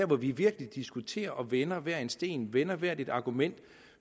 hvor vi virkelig diskuterer og vender hver en sten vender hvert et argument og